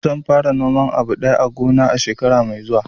Zan fara noman abu daya a gona na shekara mai zuwa